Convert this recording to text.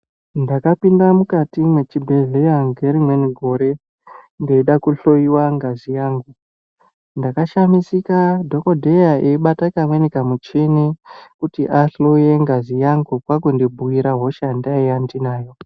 Ndakapinda mukati mwechibhehleya ngerimweni gore, ndeida kuhlowiwa ngazi yangu . Ndakashamisika dhokodheya eibata kamweni kamuchini kuti ahloye ngazi yangu kwakundibhuira hosha yandange ndinayo.